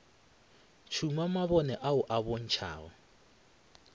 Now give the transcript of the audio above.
tšhuma mabone ao a bontšhago